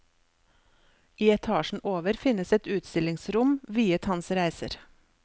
I etasjen over finnes et utstillingsrom viet hans reiser.